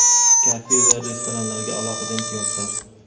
Kafe va restoranlarga alohida imtiyozlar.